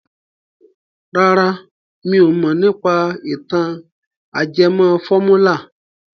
Rárá mi ò mọ̀ nípa ìtàn ajẹmọ fọ́múlà.